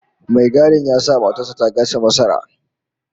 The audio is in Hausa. Mai gadin ya sa matar sa ta gasa masara